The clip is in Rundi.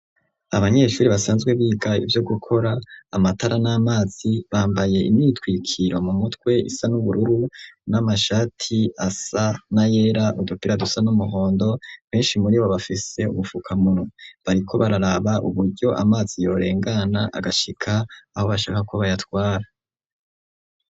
Abanyeshuri basanzwe biga ivyo gukora amatara n'amazi bambaye imyitwikiro mu mutwe isa n'ubururu n'amashati asa na yera udupira dusa n'umuhondo benshi muri bo bafise ubufukamunwa bariko bararaba uburyo amazi yorengana agashika aho bashaka ko bayatwara.